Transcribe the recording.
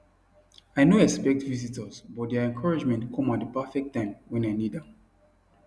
i no expect visitors but their encouragement come at the perfect time when i need am